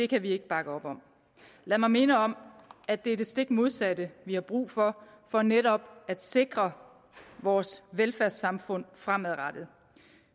kan vi ikke bakke op om lad mig minde om at det er det stik modsatte vi har brug for for netop at sikre vores velfærdssamfund fremadrettet